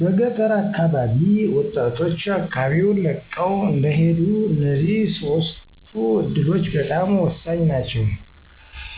በገጠር አካባቢ ወጣቶች አካባቢወን ለቀው እንዳይሄዱ እነዚህ ሶስቱ እዱሎች በጣም ሆሳኝ ናቸው።